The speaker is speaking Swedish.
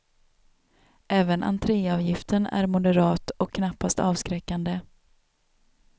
Även entréavgiften är moderat och knappast avskräckande.